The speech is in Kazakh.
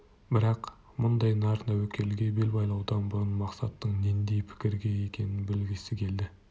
бірақ мұндай нар тәуекелге бел байлаудан бұрын мақсаттың нендей пікірде екенін білгісі келді